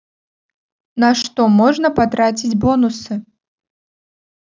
на что можно потратить бонусы